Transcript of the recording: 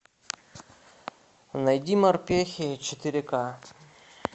найди морпехи четыре ка